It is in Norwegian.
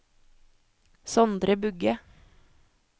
Sondre Bugge